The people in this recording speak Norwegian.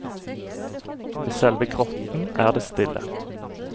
Ved selve grotten er det stille.